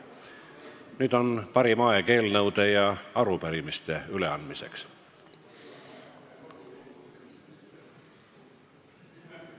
Nüüd on parim aeg eelnõude ja arupärimiste üleandmiseks.